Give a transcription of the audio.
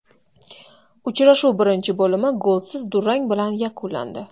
Uchrashuv birinchi bo‘limi golsiz durang bilan yakunlandi.